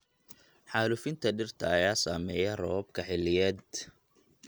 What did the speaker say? Xaalufinta dhirta ayaa saameeya roobabka xilliyeed.